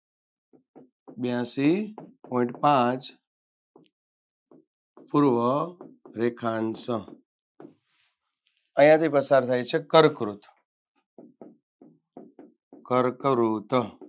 બ્યાસી point પાંચ પૂર્વ રેખાંશ અહિયાથી પસાર થાય છે કર્કવૃત કર્કવૃત